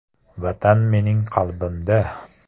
Vatan mening qalbimda!